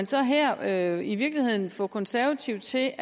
så her i virkeligheden få de konservative til